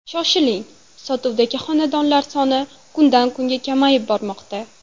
Shoshiling, sotuvdagi xonadonlar soni kundan-kunga kamayib bormoqda!